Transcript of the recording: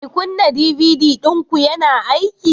Mai kunna DVD ɗinku yana aiki